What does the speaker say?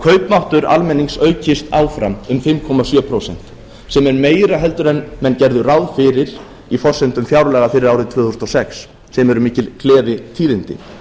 kaupmáttur almennings aukist áfram um fimm komma sjö prósent sem er meira en menn gerðu ráð fyrir í forsendum fjárlaga fyrir árið tvö þúsund og sex sem eru mikil gleðitíðindi